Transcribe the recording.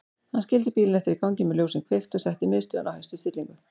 Hann skildi bílinn eftir í gangi með ljósin kveikt og setti miðstöðina á hæstu stillingu.